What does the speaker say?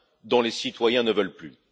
dont les citoyens ne veulent plus.